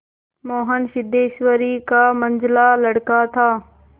मोहन सिद्धेश्वरी का मंझला लड़का था